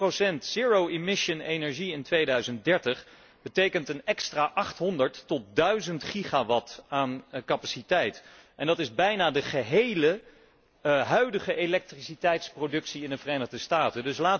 Twintig procent zero emission energie in 2030 betekent een extra 800 tot 1000 gigawatt aan capaciteit en dat is bijna de gehele huidige elektriciteitsproductie in de Verenigde Staten.